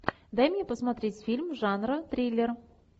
дай мне посмотреть фильм жанра триллер